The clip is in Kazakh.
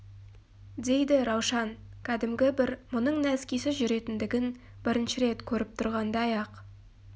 дейді раушан кәдімгі бір мұның нәскисіз жүретіндігін бірінші рет көріп тұрғандай-ақ